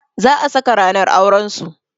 Za a saka ranar auran su.